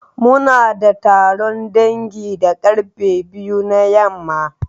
Muna da taron dangi da karfe biyu na yamma.